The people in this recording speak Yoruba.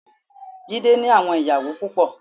Jídé ní àwọn ìyàwó púpọ.